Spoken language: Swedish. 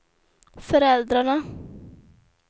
föräldrarna